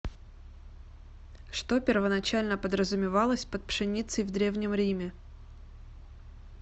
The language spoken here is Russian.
что первоначально подразумевалось под пшеницей в древнем риме